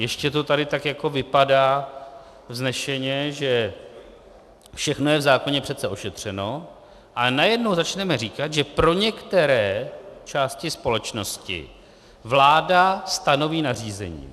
Ještě to tady tak jako vypadá vznešeně, že všechno je v zákoně přece ošetřeno, ale najednou začneme říkat, že pro některé části společnosti vláda stanoví nařízení.